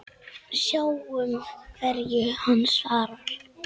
Sjáum hverju hann svarar.